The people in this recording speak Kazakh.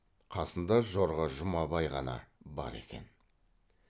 қасында жорға жұмабай ғана бар екен